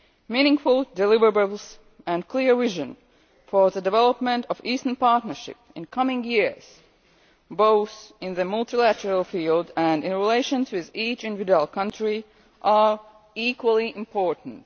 Meaningful deliverables and clear vision for the development of the Eastern Partnership in coming years both in the multilateral field and in relations with each individual country are equally important.